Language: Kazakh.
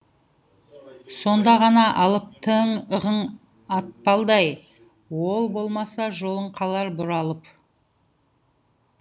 сонда ғана алыптығың атпалдай ол болмаса жолың қалар бұралып